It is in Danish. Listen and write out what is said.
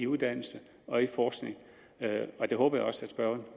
uddannelse og forskning og det håber jeg også at spørgeren